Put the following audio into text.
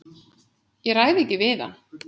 Ég ræð ekki við hann!